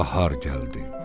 Bahar gəldi.